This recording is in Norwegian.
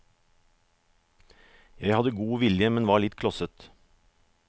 Jeg hadde god vilje, men var litt klosset.